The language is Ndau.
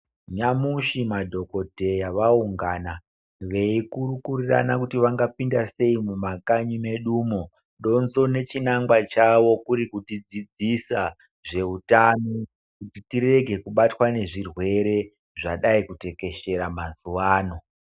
Nyamushi madhokodheya vaungana veikurukurirana kuti vangapinda sei mumakanyi medumwo .Donzo nechinangwa chawo kuri kutidzidzisa zveutano kuti tirege kubatwa nezvirwere zvadai kutekeshera mazuva ano.